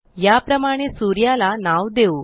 याप्रमाणे सूर्याला नाव देऊ